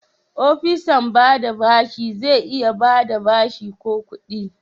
opisan ba da bashi zai iya ba da bashi ko kudi.